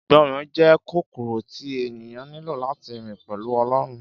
Ìgbọràn jẹ́ kọ́kọ́rọ́ tí ènìyàn nílò láti rìn pẹ̀lú Ọlọ́run